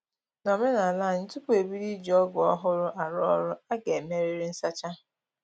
Nomenala anyị, tupu e bido iji ọgụ ọhụrụ arụ ọrụ, a ga-emerịrị nsacha